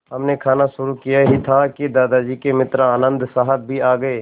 हमने खाना शुरू किया ही था कि दादाजी के मित्र आनन्द साहब भी आ गए